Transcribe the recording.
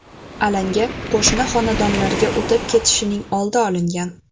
Alanga qo‘shni xonadonlarga o‘tib ketishining oldi olingan.